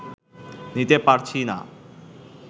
নিতে পারছি না